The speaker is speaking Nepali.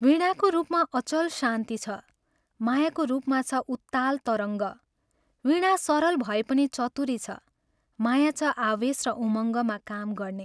वीणाको रूपमा अचल शान्ति छ, मायाको रूपमा छ उत्ताल तरङ्ग, वीणा सरल भए पनि चतुरी छ, माया छ आवेश र उमंगमा काम गर्ने।